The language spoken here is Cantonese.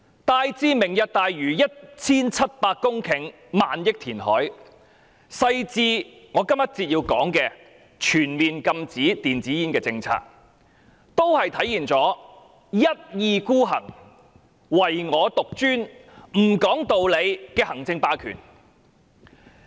大至"明日大嶼"那 1,700 公頃和花費上萬億元的填海工程，小至我要在這個環節談論的全面禁止電子煙政策，均體現了一意孤行、唯我獨專、不講理的行政霸權。